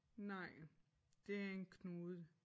Nej det en knude